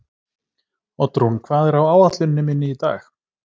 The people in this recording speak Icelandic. Oddrún, hvað er á áætluninni minni í dag?